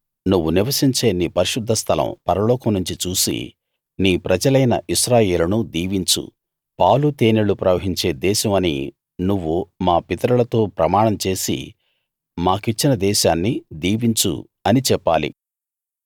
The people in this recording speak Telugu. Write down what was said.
నువ్వు నివసించే నీ పరిశుద్ధ స్థలం పరలోకం నుంచి చూసి నీ ప్రజలైన ఇశ్రాయేలును దీవించు పాలు తేనెలు ప్రవహించే దేశం అని నువ్వు మా పితరులతో ప్రమాణం చేసి మాకిచ్చిన దేశాన్ని దీవించు అని చెప్పాలి